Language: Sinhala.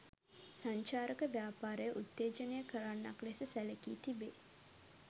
සංචාරක ව්‍යාපාරය උත්තේජනය කරන්නක් ලෙස සැලකී තිබේ.